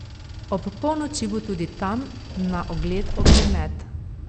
Ob polnoči bo tudi tam na ogled ognjemet.